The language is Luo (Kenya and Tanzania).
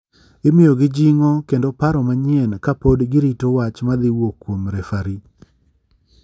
Imiyo gi jingo kendo paro manyien ka pod gi rito wach madhi wuok kuom refari.